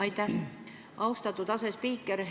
Aitäh, austatud asespiiker!